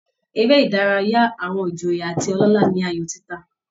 Eré ìdárayá àwọn ìjòyè àti ọlọ́lá ni aayò títa